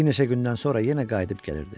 Bir neçə gündən sonra yenə qayıdıb gəlirdi.